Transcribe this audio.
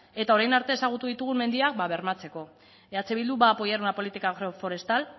eta orain arte ezagutu ditugun mendiak bermatzeko eh bildu va apoyar una política agroforestal